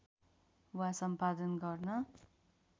वा सम्पादन गर्न